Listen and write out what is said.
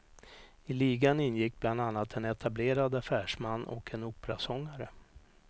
I ligan ingick bland annat en etablerad affärsman och en operasångare.